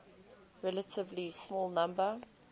relatively small number